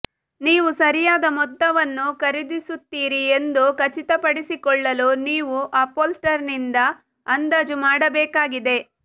ನೀವು ಸರಿಯಾದ ಮೊತ್ತವನ್ನು ಖರೀದಿಸುತ್ತೀರಿ ಎಂದು ಖಚಿತಪಡಿಸಿಕೊಳ್ಳಲು ನೀವು ಅಪ್ಹೋಲ್ಸ್ಟರರ್ನಿಂದ ಅಂದಾಜು ಮಾಡಬೇಕಾಗಿದೆ